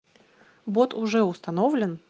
вот уже установлен